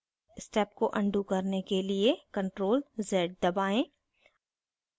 step को undo करने के लिए ctrl + z दबाएँ